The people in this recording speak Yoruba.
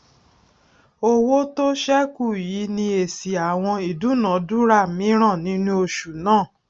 owó tó sẹkù yìí ni èsì àwọn ìdúnàdúrà míràn nínú oṣù náà